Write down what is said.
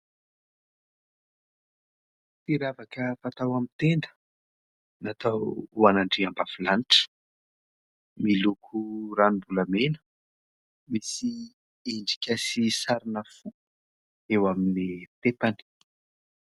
Ity ravaka fatao amin'ny tenda, natao ho an'andriambavilanitra ; miloko ranombolamena, misy endrika sy sarina fo eo amin'ny tepany.